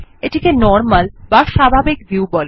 এটিকে নরমাল বা স্বাভাবিক ভিউ বলে